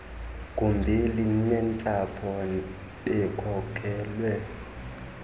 gumbi linentsapho bekhokelwe